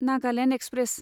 Nagaland express